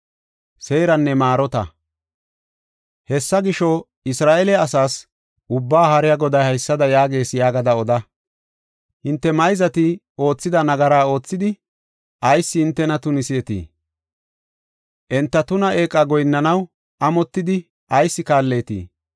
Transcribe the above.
“Hessa gisho, Isra7eele asaas, Ubbaa Haariya Goday haysada yaagees yaagada oda: ‘Hinte mayzati oothida nagara oothidi, ayis hintena tuniseetii? Enta tuna eeqa goyinnanaw amotidi ayis kaalleetii?’